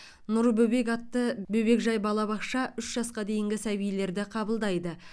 нұр бөбек атты бөбекжай балабақша үш жасқа дейінгі сәбилерді қабылдайды